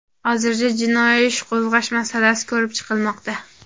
Hozirda jinoiy ish qo‘zg‘ash masalasi ko‘rib chiqilmoqda.